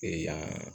Ee yan